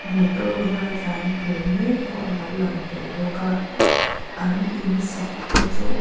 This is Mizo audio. motor var tlan tur mek pawh a lo lang tel bawk a an in sak te chu--